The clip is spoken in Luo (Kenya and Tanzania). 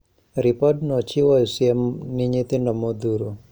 Ripodno chiwo siem ni nyithindo modhuro